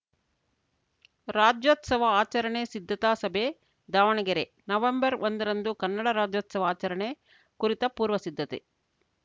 ರಾಜ್ಯೋತ್ಸವ ಆಚರಣೆ ಸಿದ್ಧತಾ ಸಭೆ ದಾವಣಗೆರೆ ನವೆಂಬರ್ಒಂದರಂದು ಕನ್ನಡ ರಾಜ್ಯೋತ್ಸವ ಆಚರಣೆ ಕುರಿತ ಪೂರ್ವಸಿದ್ಧತೆ